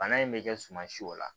Bana in bɛ kɛ suma si o la